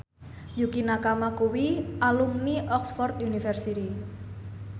Yukie Nakama kuwi alumni Oxford university